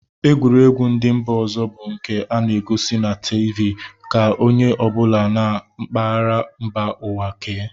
Egwuregwu ndị mba ọzọ bụ nke a na-egosi na tiivii ka onye ọ bụla nọ na mpaghara mba ụwa kee